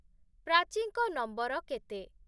ପ୍ରାଚୀଙ୍କ number କେତେ?